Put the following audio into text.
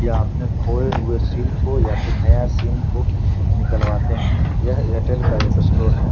यहाँ अपने खोये हुए सिम को या फिर नए सिम को निकलवाते हैं। यह एयरटेल का एक स्टोर है।